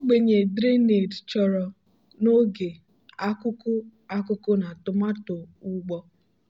ogbenye drainage chọrọ n'oge akuku akuku na tomato ugbo.